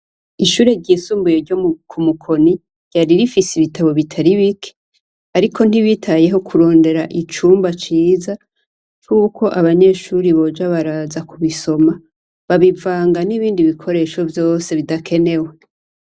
Ishure ryisumbuye ryo Kumukoni ryari rifise ibitabo bitari bike, ariko ntibitayeho kurondera icumba ciza cuko abanyeshuri boja baraza kubisoma, babivanga n'ibindi bikoresho vyose bidakenewe.